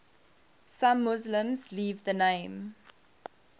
some muslims leave the name